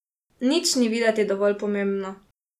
Nič ni videti dovolj pomembno.